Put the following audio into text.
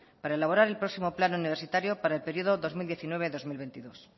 para elaborar el próximo plan universitario para el periodo dos mil diecinueve dos mil veintidós